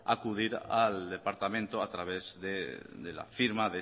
acudir al departamento a través de la firma